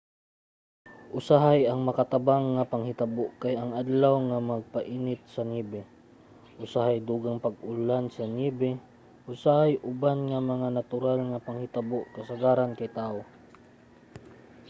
usahay ang makatabang nga panghitabo kay ang adlaw nga magpainit sa niyebe usahay dugang pang pag-ulan sa niyebe usahay uban nga mga natural nga panghitabo kasagaran kay tawo